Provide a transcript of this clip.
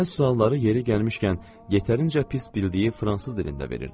Nənə sualları yeri gəlmişkən yetərincə pis bildiyi fransız dilində verirdi.